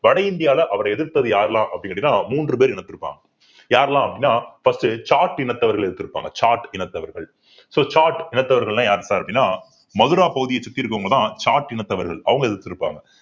வட இந்தியாவுல அவரை எதிர்த்தது யாரெல்லாம் அப்படின்னு கேட்டீங்கன்னா மூன்று பேர் யாரெல்லாம் அப்படின்னா first சாட் இனத்தவர்கள் எதிர்த்து இருப்பாங்க சாட் இனத்தவர்கள் so சாட் இனத்தவர்கள்லாம் யார் sir அப்படின்னா மதுரா பகுதியே சுத்தி இருக்கவங்கதான் சாட் இனத்தவர்கள் அவங்க எதிர்த்திருப்பாங்க